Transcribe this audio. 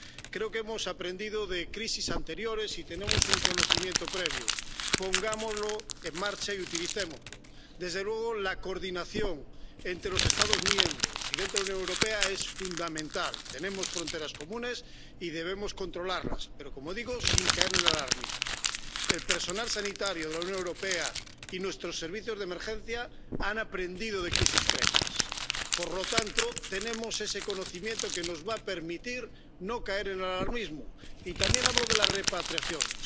Creo que hemos aprendido de crisis anteriores y tenemos un conocimiento previo. Pongámoslo en marcha y utilicémoslo. Desde luego, la coordinación entre los Estados miembros y dentro de la Unión Europea es fundamental. Tenemos fronteras comunes y debemos controlarlas, pero, como digo, sin caer en el alarmismo. El personal sanitario de la Unión Europea y nuestros servicios de emergencias han aprendido de crisis previas por lo tanto, tenemos ese conocimiento que nos va a permitir no caer en alarmismos. Y también hablo de las repatriaciones.